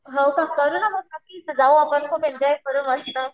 हो का करू ना मग, जाऊ आपण एन्जॉय करू मस्त.